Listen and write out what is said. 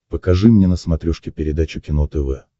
покажи мне на смотрешке передачу кино тв